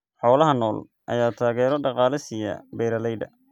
Xoolaha nool ayaa taageero dhaqaale siiya beeralayda.